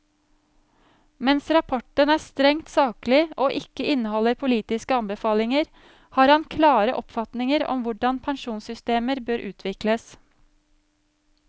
Mens rapporten er strengt saklig og ikke inneholder politiske anbefalinger, har han klare oppfatninger om hvordan pensjonssystemer bør utvikles.